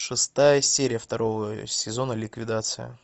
шестая серия второго сезона ликвидация